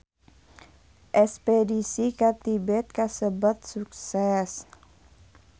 Espedisi ka Tibet kasebat sukses